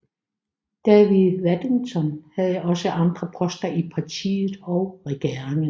David Waddington havde også andre poster i partiet og regeringen